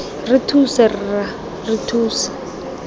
re thuse rra re thuse